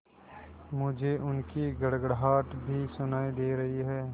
मुझे उनकी गड़गड़ाहट भी सुनाई दे रही है